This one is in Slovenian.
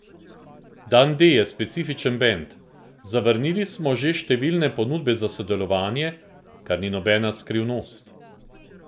Dan D je specifičen band, zavrnili smo že številne ponudbe za sodelovanje, kar ni nobena skrivnost.